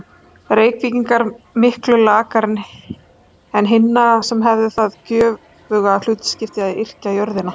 Reykvíkinga miklu lakari en hinna, sem hefðu það göfuga hlutskipti að yrkja jörðina.